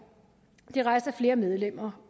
og det er rejst af flere medlemmer